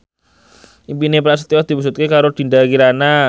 impine Prasetyo diwujudke karo Dinda Kirana